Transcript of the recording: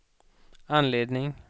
anledning